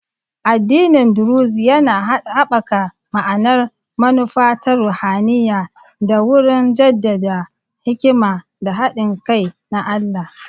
Addinin Druzi yana haɓaka ma'anar manufa ta ruhaniya ta wurin jaddada hikima da haɗin kai na Allah.